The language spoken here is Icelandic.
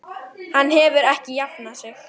Hann hefur ekki jafnað sig.